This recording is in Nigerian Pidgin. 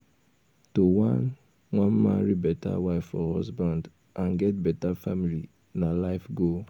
to wan wan marry better wife or husband and get bettr family na life goal